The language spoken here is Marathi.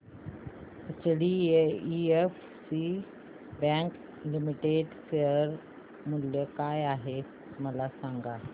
एचडीएफसी बँक लिमिटेड शेअर मूल्य काय आहे मला सांगा